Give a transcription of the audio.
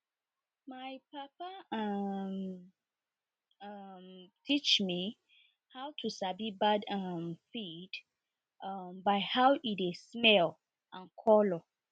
my papa um um teach me how to sabi bad um feed um by how e dey smell and colour